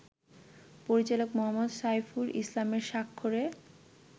পরিচালক মো. সাইফুল ইসলামের স্বাক্ষরে